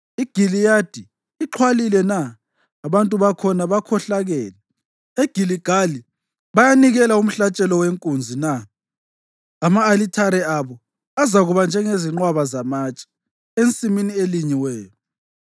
IGiliyadi ixhwalile na? Abantu bakhona bakhohlakele! EGiligali bayanikela umhlatshelo wenkunzi na? Ama-alithare abo azakuba njengezinqwaba zamatshe ensimini elinyiweyo.